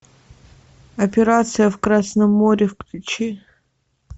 операция в красном море включи